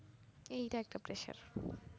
এইটা একটা pressure